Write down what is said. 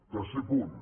tercer punt